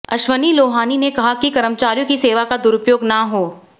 अश्विनी लोहानी ने कहा कि कर्मचारियों की सेवा का दुरूपयोग ना हो